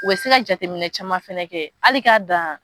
U bɛ se ka jateminɛ caman fana kɛ hali k'a dan